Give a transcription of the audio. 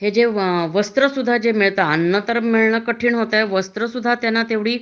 हे जे वस्त्र सुद्धा मिळत अन्न मिळणा सुद्धा कठीण झालं ये वस्त्र त्यांना तेवढी